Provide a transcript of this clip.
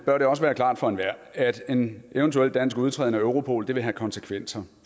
bør det også være klart for enhver at en eventuel dansk udtræden af europol vil have konsekvenser